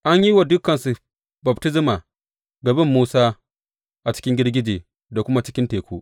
An yi wa dukansu baftisma ga bin Musa a cikin girgije da kuma cikin teku.